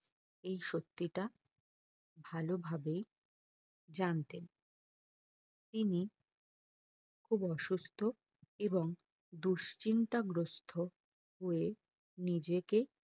এই সত্যিটা ভালো ভাবেই জানতেন তিনি খুব অসুস্থ্য এবং দুশ্চিন্তা গ্রস্থ হয়ে নিজেকে